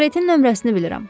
Karetin nömrəsini bilirəm.